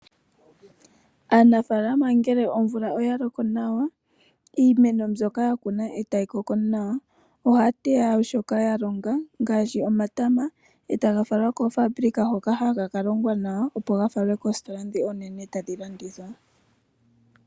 Aanafaalama ngele omvula oyaloko nawa iimeno myoka ya kuna ndele tayi koko nawa ohaya teya shoka yalonga ngaashi omatama ,e taga falwa koofabulika hoka haga kalongwa nawa opo gafalwe koositola dhi oonene tadhi landitha.